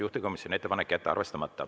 Juhtivkomisjoni ettepanek on jätta arvestamata.